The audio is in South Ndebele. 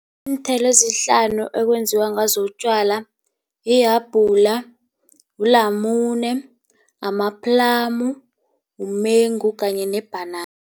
Iinthelo ezihlanu ekwenziwa ngazo utjwala yihabula, wulamune, amaplamu, umengu kanye nebhanana.